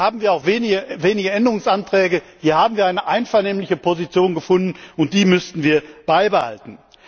Hier haben wir auch wenige Änderungsanträge, hier haben wir eine einvernehmliche Position gefunden, und die müssten wir beibehalten.